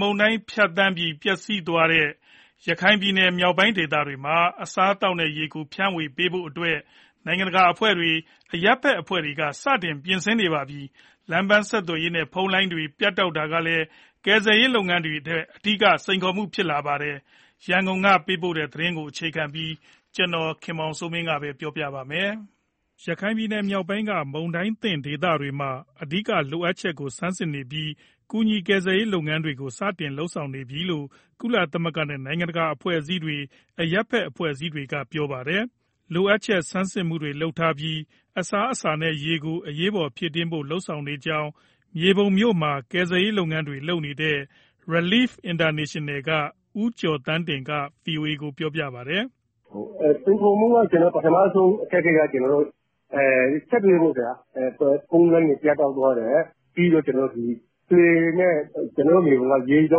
မုန်တိုင်းဖြတ်သန်းပြီး ပျက်စီးမှုများခဲ့တဲ့ ရခိုင်ပြည်နယ် မြောက်ပိုင်းဒေသတွေမှာ အစားအသောက်နဲ့ရေကို ဖြန့်ဝေပေးဖို့အတွက် နိုင်ငံတကာအဖွဲ့တွေ၊ အရပ်ဘက်အဖွဲ့တွေက စတင်ပြင်ဆင်နေပြီ ဖြစ်ပါတယ်။ လမ်းပန်း ဆက်သွယ်ရေးနဲ့ ဖုန်းလိုင်းတွေ ပြတ်တောက်သွားတာကလည်း ကယ်ဆယ်ရေး လုပ်ငန်းတွေအတွက် အဓိက စိန်ခေါ်မှု ဖြစ်လာပါတယ်။ ရန်ကုန်ကပေးတဲ့ သတင်းကိုအခြေခံပြီး ကိုခင်မောင်စိုးမင်းက ပြောပြပေးမှာပါ။ ရခိုင်ပြည်နယ်မြောက်ပိုင်းက မုန်တိုင်းသင့်ဒေသတွေမှာ အဓိကလိုအပ်ချက်ကို ဆန်းစစ်နေပြီး ကူညီကယ်ဆယ်ရေး လုပ်ငန်းတွေကို စတင်လုပ်နေပြီလို့ ကုလသမဂ္ဂနဲ့ နိုင်ငံတကာအဖွဲ့အစည်းတွေ၊ အရပ်ဘက်အဖွဲ့တွေက ပြောပါတယ်။ လိုအပ်ချက်ဆန်းစစ်မှုတွေ လုပ်ထားပြီး အစားအစာနဲ့ ရေကို အရေးပေါ်ဖြည့်တင်းဖို့ လုပ်ဆောင်နေကြောင်း မြေပုံမြို့မှာ ကယ်ဆယ်ရေးလုပ်ငန်းတွေ လုပ်နေတဲ့ Relief International က ဦးကျော်သန်းတင်က ဗွီအိုအေကို ပြောပါတယ်။ "စိန်ခေါ်မှု ပထမဆုံးအခက်အခဲက ဆက်သွယ်ရေးပေါ့ ခင်ဗျာ။ ဖုန်းလိုင်းတွေ ပြတ်တောက်သွားတယ်၊ ပြီးတော့ လှေနဲ့ ကျနော်တို့ မြေပုံ က ရေကြော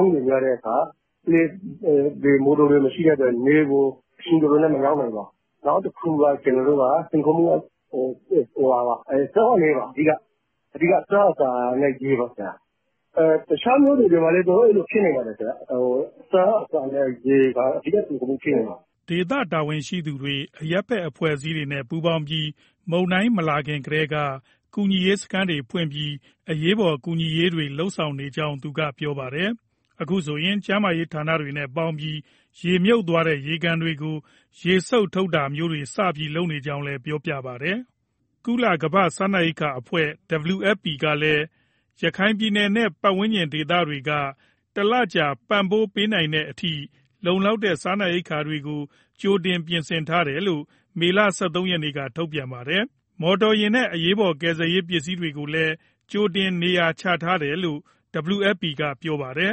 င်းတွေများတဲ့အခါ မော်တော်တွေ မရှိတဲ့အတွက် နယ်ကို အချိန်တော်တော်နဲ့ မရောက်နိုင်ပါ။ နောက်တခုက ကျနော်တို့က စိန်ခေါ်မှုက အဓိကက အစားအစာနဲ့ ရေပါ။ တခြားမြို့တွေမှာလည်း အဲလိုဖြစ်နေပါတယ်၊ အစားအစာနဲ့ ရေက အဓိကစိန်ခေါ်မှု ဖြစ်နိုင်ပါတယ်။" ဒေသတာဝန်ရှိသူတွေ၊ အရပ်ဘက် အဖွဲ့အစည်းတွေနဲ့ ပူးပေါင်းပြီး မုန်တိုင်းမလာခင်ကတည်းက ကူညီရေးစခန်းတွေဖွင့်ပြီး အရေးပေါ် ကူညီရေးတွေ လုပ်နေကြောင်းသူက ပြောပါတယ်။ အခုဆိုရင် ကျန်းမာရေး ဌာနတွေနဲ့ပေါင်းပြီး ရေမြုပ်သွားတဲ့ ရေကန်တွေကို ရေစုပ်ထုတ်တာမျိုးတွေ စပြီးလုပ်နေကြောင်းလည်း ပြောပါတယ်။ ကုလကမ္ဘာ့စားနပ်ရိက္ခာအဖွဲ့ WFP ကလည်း ရခိုင်ပြည်နယ်နဲ့ ပတ်ဝန်းကျင်ဒေသတွေတွေက လူဦးရေ ၄သိန်းကျော်ကို တလကြာ ပံ့ပိုးပေးနိုင်တဲ့အထိ လုံလောက်တဲ့ စားနပ်ရိက္ခာတွေကို ကြိုတင် ပြင်ဆင်ထားတယ်လို့ မေလ ၁၃ရက်က ထုတ်ပြန်ထားတာပါ။ မော်တော်ယာဉ်နဲ့ အရေးပေါ် ကယ်ဆယ်ရေးပစ္စည်းတွေကိုလည်း ကြိုတင်နေရာချထားတယ်လို့ WFP က ပြောတာပါ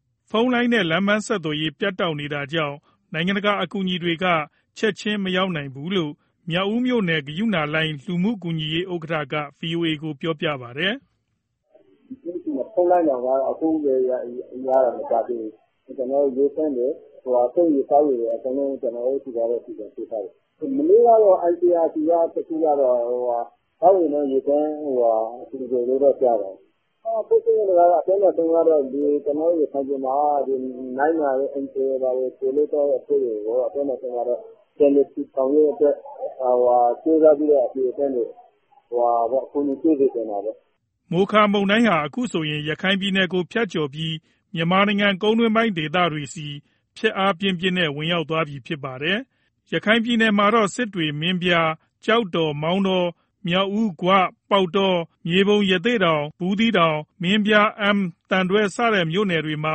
။ ဖုန်းလိုင်းနဲ့ လမ်းပန်းဆက်သွယ်ရေး ပြတ်တောက်နေတာကြောင့် နိုင်ငံတကာ အကူအညီတွေက ချက်ချင်းမရောက်နိုင်ဘူလို့ မြောက်ဦးမြို့နယ် ဂရုဏာလှိုင်း လူမှုကူညီရေး ဥက္ကဋ္ဌက ဗွီအိုအေကို ပြောပါတယ်။ "ကျနော်တို့ဆီမှာ ခုမှ ဖုန်းလိုင်းတောင် ရတာမကြာသေးဘူး။ ကျနော်တို့ ရေသန့်တွေ၊ သုံးရေတွေ ကျနော်တို့ဆီက အကုန်လုံး စီစဉ်ပေးထားတယ်။ မနေ့ကတော့ ICRC သောက်ရေနဲ့ ရေသန့် လှူတယ်လို့တော့ ကြားတယ်။ ဖြစ်ချင်တာတော့ ကျနော်တို့ရခိုင်ပြည်မှာ နိုင်ငံတကာ NGO အဖွဲ့တွေကို ပြောမယ်ဆိုရင်တော့ ပြန်လည်ထူထောင်ရေးအတွက် ကြိုးစားပြီးတော့ အလှူအတန်းတွေ အကူအညီပေးစေချင်တာပေါ့။" မိုခါမုန်တိုင်းဟာ အခုဆိုရင် ရခိုင်ပြည်နယ်ကို ဖြတ်ကျော်ပြီး မြန်မာနိုင်ငံ ကုန်တွင်းပိုင်းဒေသတွေဆီ ဖျက်အားပြင်းပြင်းနဲ့ ဝင်ရောက်သွားပြီ ဖြစ်ပါတယ်။ ရခိုင်မှာတော့ စစ်တွေ၊ မင်းပြား၊ ကျောက်တော်၊ မောင်တော၊ မြောက်ဦး၊ ဂွ၊ ပေါက်တော၊ မြေပုံ၊ ရသေ့တောင်၊ ဘူးသီးတောင်၊ မင်းပြား၊ အမ်း၊ သံတွဲ စတဲ့မြို့နယ်တွေမှာ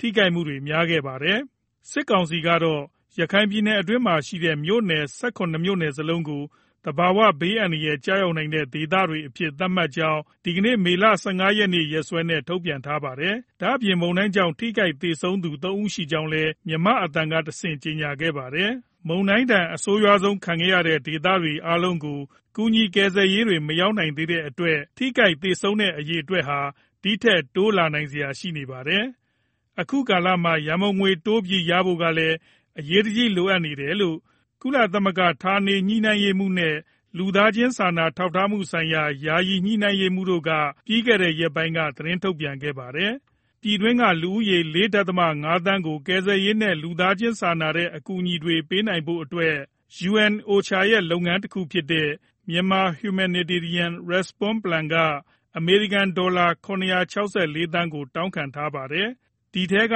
ထိခိုက်မှု များခဲ့တာပါ။ စစ်ကောင်စီကတော့ ရခိုင်ပြည်နယ်အတွင်းမှာရှိတဲ့ မြို့နယ် ၁၇ မြို့နယ်စလုံးကို သဘာဝဘေးအန္တရာယ်ကျရောက်သော ဒေသများအဖြစ် သတ်မှတ်ကြောင်း ဒီကနေ့ မေလ ၁၅ ရက်နေ့ ရက်စွဲနဲ့ ထုတ်ပြန်ထားပါတယ်။ ဒါ့အပြင် မုန်တိုင်းကြောင့် ထိခိုက် သေဆုံးသူ ၃ ဦးရှိကြောင်းလည်း မြန်မာ့အသံကတဆင့် ကြေညာခဲ့ပါတယ်။ မုန်တိုင်းဒဏ် အဆိုးရွားဆုံး ခံခဲ့ရတဲ့ဒေသတွေ အားလုံးကို ကူညီ ကယ်ဆယ်ရေးတွေ မရောက်သေးတဲ့အတွက် ထိခိုက် သေဆုံးတဲ့အရေအတွက်ဟာ ဒီထက် တိုးလာနိုင်စရာ ရှိနေပါတယ်။ အခုလိုကာလမှာ ရန်ပုံငွေတိုးပြီးရဖို့ကလည်း အရေးတကြီးလိုအပ်နေတယ်လို့ ကုလဌာနေညှိနှိုင်းရေးမှူးနဲ့ လူသားချင်းစာနာ ထောက်ထားမှုဆိုင်ရာ ယာယီညှိနှိုင်းရေးမှူးက ပြီးခဲ့တဲ့ရက်ပိုင်းက သတင်းထုတ်ပြန်ခဲ့ပါတယ်။ ပြည်တွင်းက လူဦးရေ ၄.၅သန်းကို ကယ်ဆယ်ရေးနဲ့ လူသားချင်းစာနာတဲ့ အကူအညီတွေပေးဖို့အတွက် UNOCHA ရဲ့ လုပ်ငန်းတခုဖြစ်တဲ့ Myanmar Humanitarian Response Plan က အမေရိကန်ဒေါ်လာ ၇၆၄ သန်းကို တောင်းခံထားပါတယ်။ ဒီထဲက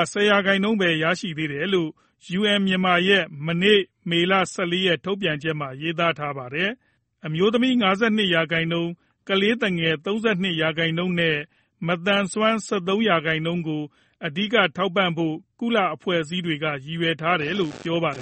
၁၀ရာခိုင်နှုန်းပဲ ရရှိသေးတယ်လို့ UN Myanmar ရဲ့ မနေ့ မေလ ၁၄ရက် ထုတ်ပြန်ချက်မှာ ရေးသားထားတာပါ။ အမျိုးသမီး ၅၂ရာခိုင်နှုန်း၊ ကလေးသူငယ် ၃၂ရာခိုင်နှုန်းနဲ့ မသန်စွမ်း ၁၃ရာခိုင်နှုန်းကို အဓိက ထောက်ပံ့ဖို့ ကုလအဖွဲ့အစည်းတွေက ရည်ရွယ်ထားတယ်လို့ ပြောပါတယ်